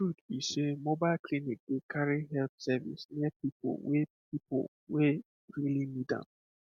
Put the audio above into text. the truth be sey mobile clinic dey carry health service near people wey people wey really need am